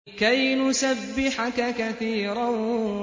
كَيْ نُسَبِّحَكَ كَثِيرًا